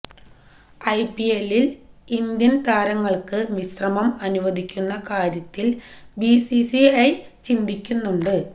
ഐപിഎല്ലില് Indian താരങ്ങള്ക്ക് വിശ്രമം അനുവദിക്കുന്ന കാര്യത്തില് ബിസിസിഐ ചിന്തിക്കുന്നുണ്ട്